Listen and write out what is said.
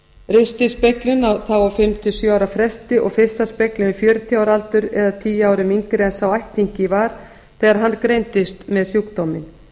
ristilspeglun á fimm til sjö ára fresti og fyrsta speglun við fjörutíu ára aldur eða tíu árum yngri en sá ættingi var þegar hann greindist með sjúkdóminn